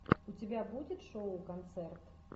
у тебя будет шоу концерт